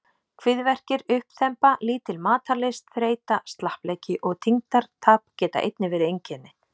Kviðverkir, uppþemba, lítil matarlyst, þreyta, slappleiki og þyngdartap geta einnig verið einkenni.